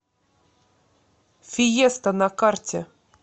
фиеста на карте